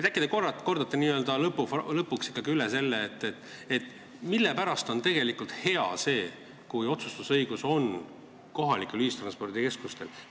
Ehk te kordate lõpuks ikkagi üle, miks on tegelikult hea see, kui otsustusõigus on kohalikel ühistranspordikeskustel.